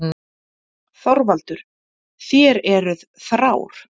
ÞORVALDUR: Þér eruð þrár.